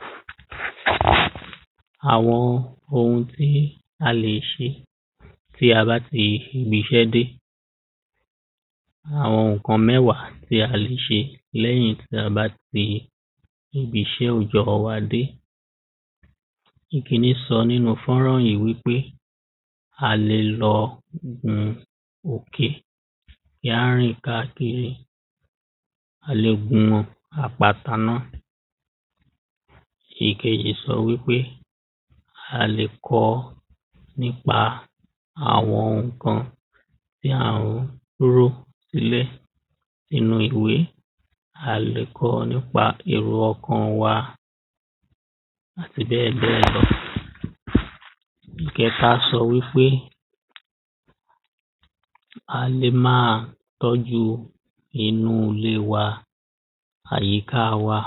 [STATIC NOISE] Àwo̩n oun tí a lè s̩e tí a bá ti ibis̩é̩ dé, àwo̩n ǹkan méwà tí a lè s̩e lé̩yìn bí a bá ti ibis̩é̩ òjó̩ wa dé. Ìkíní so̩ nínu fánrán yì wípé a lè lo̩ um òkè kí á rìn káàkiri, a lè gunmo̩ àpáta ná. Ìkejì so̩ wípé a lè ko̩ nípa àwo̩n ǹkan bí àwo̩n wíwó ilé inú ìwé a lè ko̩ nípa èro o̩kàn wa àti bé̩è̩bé̩è̩ lo̩. [...] Ìké̩ta so̩ wípé a lè ma tó̩ju inú ilé wa, àyíká wa,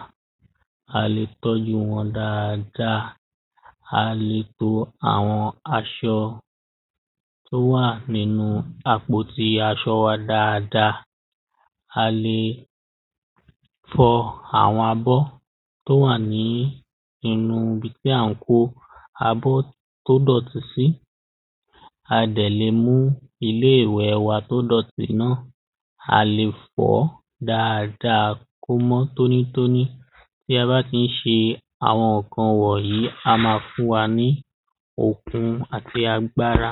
a lè tó̩ju wo̩n dáadáa, a lè lo̩ àwo̩n as̩o̩ tó wà nínu apò ti as̩o̩ wa dáada, a lè fo̩ àwo̩n abó̩ tó wà ní inú ibi tí à ń kó abó̩ tó dò̩tí sí, a dè̩ le mú ilé ìwe̩ wa tó dò̩tí na, a lè fò̩ó̩ dáada kó mó̩ tónítóní, BÍ a bá tí s̩e àwo̩n ǹkan wò̩nyí, á ma fún wa ní òkun àti agbára.